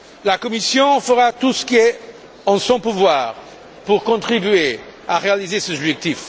La Commission fera tout ce qui est en son pouvoir pour contribuer à réaliser ces objectifs.